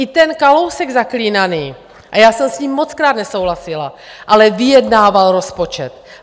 I ten Kalousek zaklínaný, a já jsem s ním mockrát nesouhlasila, ale vyjednával rozpočet.